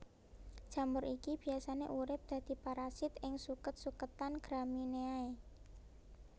Jamur iki biasane urip dadi parasit ing suket suketan Gramineae